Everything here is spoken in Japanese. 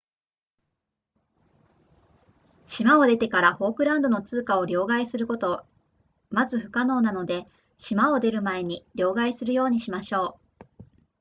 島を出てからフォークランドの通貨を両替することまず不可能なので島を出る前に両替するようにしましょう